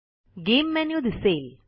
game menu दिसेल